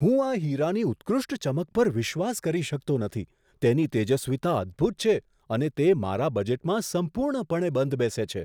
હું આ હીરાની ઉત્કૃષ્ટ ચમક પર વિશ્વાસ કરી શકતો નથી! તેની તેજસ્વીતા અદ્ભૂત છે, અને તે મારા બજેટમાં સંપૂર્ણપણે બંધબેસે છે.